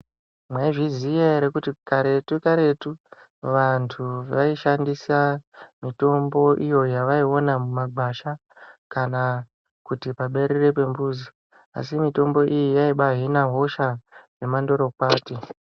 Mwaizviziya ere kuti karetu karetu vandu vaishandisa mitombo iyo yavaiona mumagwasha kana kuti paberere pemuzi asi mitombo iyi yaibahina hosha yemandorokwati.